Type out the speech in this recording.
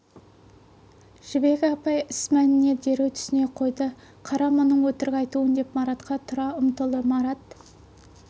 жібек апай іс мәніне дереу түсіне қойды қара мұның өтірік айтуын деп маратқа тұра ұмтылды марат